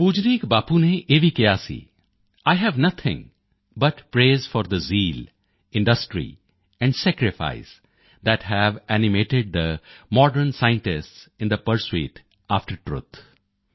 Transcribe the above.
ਪੂਜਨੀਕ ਬਾਪੂ ਨੇ ਇਹ ਵੀ ਕਿਹਾ ਸੀ I have nothing but praise for the zeal industry and sacrifice that have animated the modern scientists in the pursuit after truth